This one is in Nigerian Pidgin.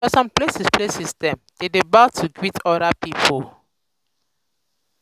for some places places dem dey bow to greet oda pipo